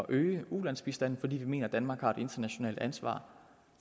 øge ulandsbistanden fordi vi mener at danmark har et internationalt ansvar